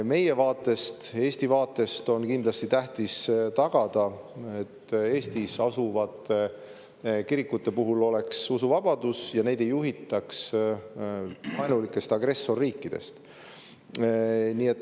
Meie vaatest, Eesti vaatest on kindlasti tähtis tagada, et Eestis asuvate kirikute puhul oleks usuvabadus ja neid ei juhitaks vaenulikest agressorriikidest.